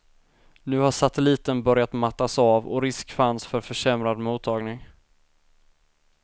Nu har satelliten börjat mattas av och risk fanns för försämrad mottagning.